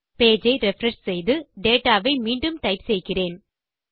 page ஐ refresh செய்து dataஐ மீண்டும் டைப் செய்கிறேன்